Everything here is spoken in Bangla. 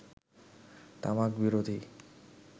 তামাক বিরোধী